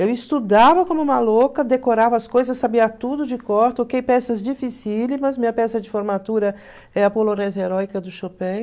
Eu estudava como uma louca, decorava as coisas, sabia tudo de cor, toquei peças dificílimas, minha peça de formatura é a do Chopin,